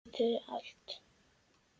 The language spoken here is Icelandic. Geturðu allt?